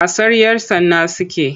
Wasan 'yar tsana suke yi.